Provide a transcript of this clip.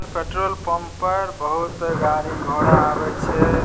Petrol pump पर बहुत गाड़ी घोड़ा आवे छै।